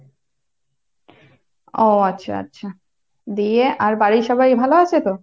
ও আচ্ছা আচ্ছা। দিয়ে, আর বাড়ির সবাই ভালো আছে তো?